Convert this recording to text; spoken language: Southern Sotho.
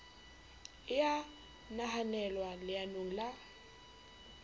e ya nahanelwa leanong la